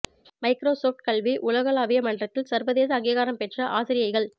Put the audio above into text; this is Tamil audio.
மைக்ரோ சொவ்ட் கல்வி உலகளாவிய மன்றத்தில் சர்வதேச அங்கீகாரம் பெற்ற ஆசிரியைகள்